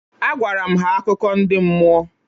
Agwara m ha akụkọ ndị mmụọ